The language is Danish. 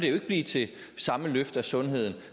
ikke blive til samme løft af sundheden